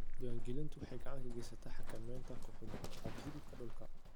Diiwaangelintu waxay gacan ka geysataa xakamaynta ku xadgudubka dhulka.